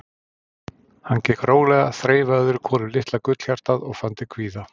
Hann gekk rólega, þreifaði öðru hvoru um litla gullhjartað og fann til kvíða.